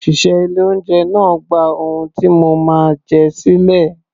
Òṣìṣẹ́ ilé-oúnjẹ náà gba ohun tí mo máa jẹ sílẹ̀